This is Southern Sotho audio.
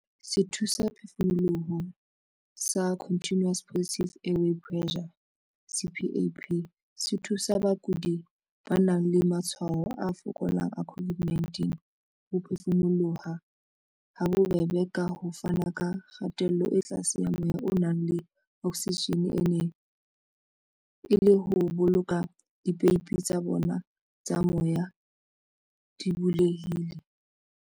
Sethusaphefumoloho sa Continuous Positive Airway Pressure, CPAP, se thusa bakudi ba nang le matshwao a fokolang a COVID-19 ho phefumoloha habobebe, ka ho fana ka kgatello e tlase ya moya o nang le oksijene e le ho boloka dipeipi tsa bona tsa moya di bulehile.